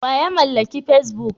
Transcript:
Wa ya mallaki facebook?